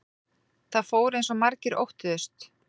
Það fór eins og margir óttuðust